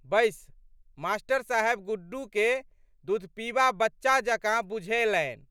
बैस। मा.साहेब गुड्डूके दुधपीबा बच्चा जकाँ बुझएलनि।